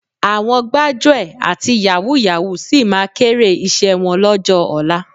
Àwọn gbájúẹ̀, àti yàwúù-yàwúù sì máa kéré iṣẹ́ wọn lọ́jọ́ ọ̀la